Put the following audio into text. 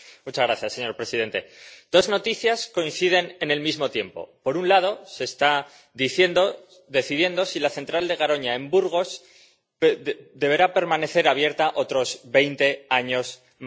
Señor presidente, dos noticias coinciden en el mismo tiempo por un lado, se está decidiendo si la central de Garoña, en Burgos, deberá permanecer abierta otros veinte años más